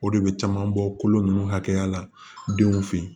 O de bɛ caman bɔ kolo ninnu hakɛya la denw fɛ yen